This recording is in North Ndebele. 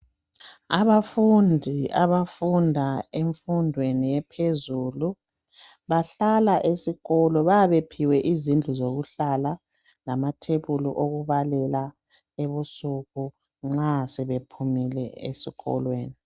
Abafundi abafunda emfundweni ephezulu bahlala esikolo. Bayabe bephiwe izindlu zokuhlala lamathebuli okubalela ebusuku nxa sebephumile esikolweni.